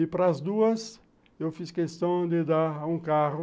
E para as duas, eu fiz questão de dar um carro,